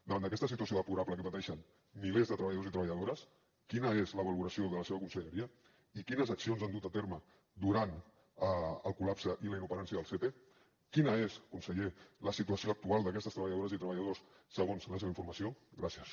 davant d’aquesta situació deplorable que pateixen milers de treballadors i treballadores quina és la valoració de la seva conselleria i quines accions han dut a terme durant el col·lapse i la inoperància del sepe quina és conseller la situació actual d’aquestes treballadores i treballadors segons la seva informació gràcies